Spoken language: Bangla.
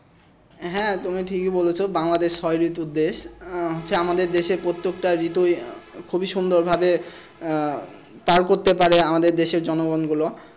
হ্যাঁ তুমি ঠিকই বলেছ বাংলাদেশ ছয় ঋতুর দেশ আহ হচ্ছে আমাদের দেশে প্রত্যেকটা ঋতুই খুবই সুন্দর ভাবে আহ পার করতে পারে আমাদের দেশের জনগণ গুলো।